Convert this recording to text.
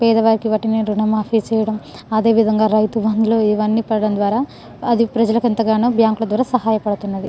పేద వాళ్లకి ఇవ్వటమే రుణ మాఫీ ఇవ్వడం అదే విధంగా రైతు బందులు ఇవ్వని పడటం ద్వారా అది ప్రజలకు ఎంతగానో బ్యాంకుల ద్వారా సహాయపడుతుంది.